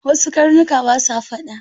Wasu karnuka ba sa faɗa.